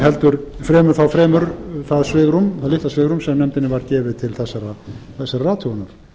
heldur þá fremur það litla svigrúm sem nefndinni var gefið til þessarar athugunar